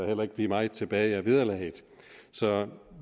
heller ikke blive meget tilbage af vederlaget så